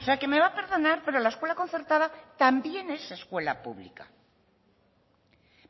o sea que me va a perdonar pero la escuela concertada también es escuela pública